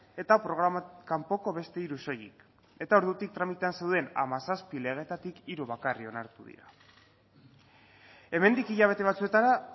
eta programa kanpoko beste hiru soilik eta ordutik tramitean zeuden hamazazpi legeetatik hiru bakarrik onartu dira hemendik hilabete batzuetara